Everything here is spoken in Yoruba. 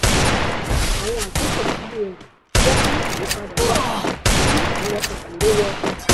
àwọn àtúntò cbn jẹ́ kí ayípadà wá kí ẹ̀rọ òkèèrè wọ ọjà.